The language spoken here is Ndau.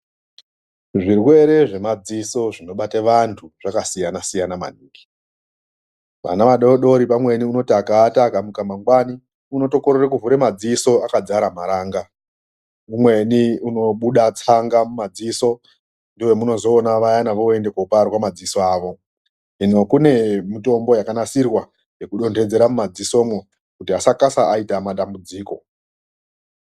Zvirwere zvemadziso zvinobata vantu zvakasiyana-siyana maningi, vana vadodori pamweni anoti akaata akamuka mangwani unotokorere kuvhura madziso akazara maranga umweni unobuda tsanga mumadziso ndovanounoona pamweni voenda kunoparwa madziso avo zvino kune mitombo yakanasirwa yekudonhedzera mumadziso wekuti vasaite madambudziko.